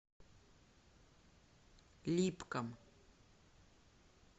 липкам